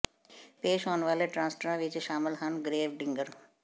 ਪੇਸ਼ ਹੋਣ ਵਾਲੇ ਟ੍ਰਾਂਸਟਰਾਂ ਵਿੱਚ ਸ਼ਾਮਲ ਹਨ ਗ੍ਰੇਵ ਡਿਗਰ